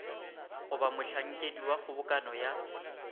goba mohlankedi wa kgobokano ya